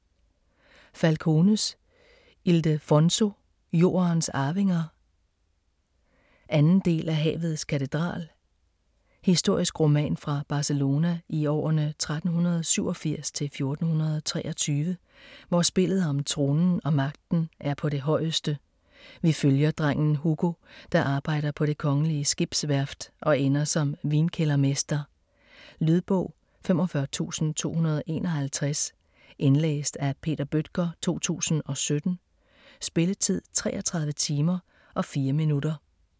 Falcones, Ildefonso: Jordens arvinger 2. del af Havets katedral. Historisk roman fra Barcelona i årene 1387-1423, hvor spillet om tronen og magten er på det højeste. Vi følger drengen Hugo, der arbejder på det kongelige skibsværft og ender som vinkældermester. Lydbog 45251 Indlæst af Peter Bøttger, 2017. Spilletid: 33 timer, 4 minutter.